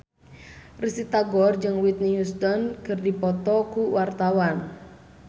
Risty Tagor jeung Whitney Houston keur dipoto ku wartawan